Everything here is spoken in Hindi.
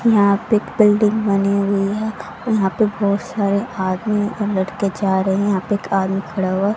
यहां पे एक बिल्डिंग बनी हुई है यहां पे बहोत सारे आदमी और लड़के जा रहे हैं यहां पे एक आदमी खड़ा हुआ--